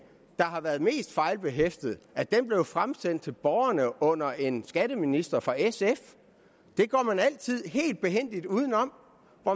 der har været mest fejlbehæftet blev fremsendt til borgerne under en skatteminister fra sf det går man altid helt behændigt uden om